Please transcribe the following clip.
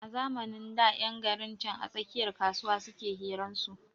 A zamanin da ƴan garin can a tsakiyar kasuwa suke hiran su